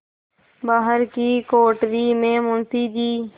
बाहर की कोठरी में मुंशी जी